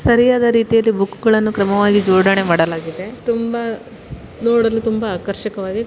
ಸರಿಯಾದ ರೀತಿಯಲ್ಲಿ ಕ್ರಮವಾಗಿ ಬುಕ್ಗಳನ್ನು ಜೋಡಣೆ ಮಾಡಲಾಗಿದೆ ತುಂಬಾ ನೋಡಲು ತುಂಬಾ ಆಕರ್ಷಣವಾಗಿ--